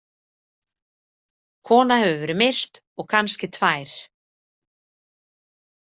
Kona hefur verið myrt og kannski tvær.